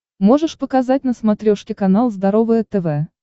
можешь показать на смотрешке канал здоровое тв